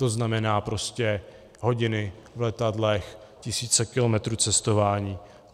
To znamená prostě hodiny v letadle, tisíce kilometrů cestování.